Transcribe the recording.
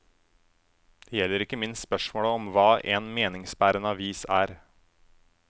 Det gjelder ikke minst spørsmålet om hva en meningsbærende avis er.